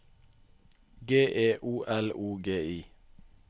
G E O L O G I